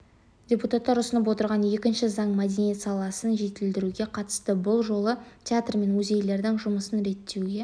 депутаттар ұсынып отырған екінші заң мәдениет саласын жетілдіруге қатысты бұл жолы театр мен музейлердің жұмысын реттеуге